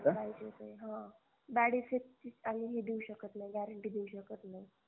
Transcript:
bad effect ची आम्हीही देऊ शकत नाही guarantee देऊ शकत नाही